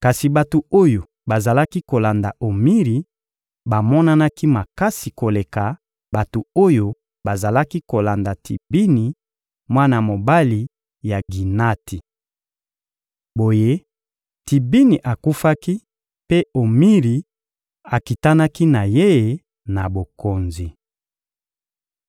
Kasi bato oyo bazalaki kolanda Omiri bamonanaki makasi koleka bato oyo bazalaki kolanda Tibini, mwana mobali ya Ginati. Boye, Tibini akufaki mpe Omiri akitanaki na ye na bokonzi.